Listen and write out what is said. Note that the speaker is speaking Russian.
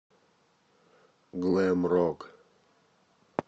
глэм рок